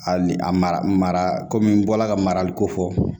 Hali a mara komi n bɔra ka marali ko fɔ